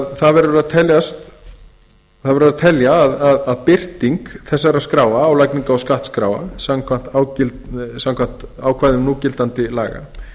það verður að telja að birting þessara skráa álagningar og skattskráa samkvæmt ákvæðum núgildandi laga